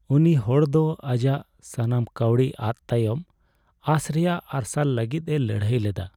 ᱩᱱᱤ ᱦᱚᱲ ᱫᱚ ᱟᱡᱟᱜ ᱥᱟᱱᱟᱢ ᱠᱟᱹᱣᱰᱤ ᱟᱫ ᱛᱟᱭᱚᱢ ᱟᱸᱥ ᱨᱮᱭᱟᱜ ᱢᱟᱨᱥᱟᱞ ᱞᱟᱹᱜᱤᱫ ᱮ ᱞᱟᱹᱲᱦᱟᱹᱭ ᱞᱮᱫᱟ ᱾